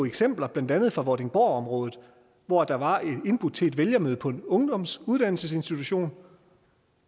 blandt andet fra vordingborgområdet hvor der var indbudt til et vælgermøde på en ungdomsuddannelsesinstitution